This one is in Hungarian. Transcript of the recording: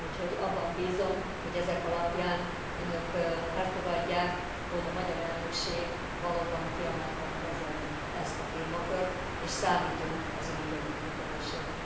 Úgyhogy abban bízom, hogy ezek alapján Önök elfogadják, hogy a magyar elnökség valóban kiemelten kezeli ezt a témakört, és számítunk az Önök együttműködésére.